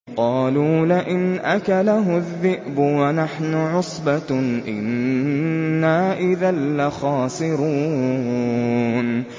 قَالُوا لَئِنْ أَكَلَهُ الذِّئْبُ وَنَحْنُ عُصْبَةٌ إِنَّا إِذًا لَّخَاسِرُونَ